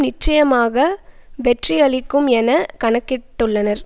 நிச்சயமாக வெற்றியளிக்கும் என கணக்கிட்டுள்ளனர்